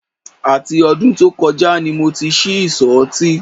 Àti ọdún tó kọjá ni mo ti ṣí ìsọ̀ ọtí